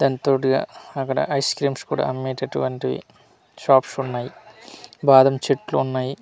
దాంతోటిగా అక్కడ ice creams కూడా అమ్మేటటువంటివి షాప్స్ ఉన్నాయి బాదం చెట్లు ఉన్నాయి.